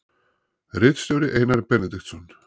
Ritstjóri Einar Benediktsson.